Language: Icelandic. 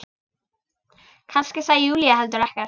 Kannski sagði Júlía heldur ekkert.